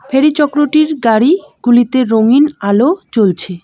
ফেরি চক্রটির গাড়িগুলিতে রঙিন আলো জ্বলছে।